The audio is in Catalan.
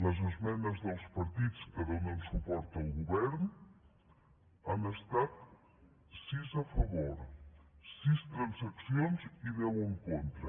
les esmenes dels partits que donen suport al govern han estat sis a favor sis transaccions i deu en contra